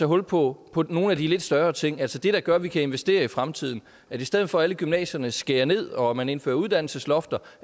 hul på på nogle af de lidt større ting altså det der gør at vi kan investere i fremtiden i stedet for at alle gymnasierne skærer ned og man indfører uddannelseslofter